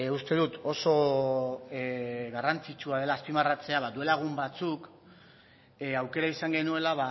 uste dut oso garrantzitsua dela azpimarratzea ba duela egun batzuk aukera izan genuela